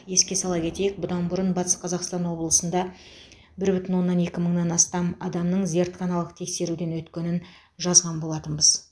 еске сала кетейік бұдан бұрын батыс қазақстан облысында бір бүтін оннан екі мыңнан астам адамның зертханалық тексеруден өткенін жазған болатынбыз